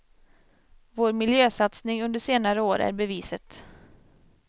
Vår miljösatsning under senare år är beviset.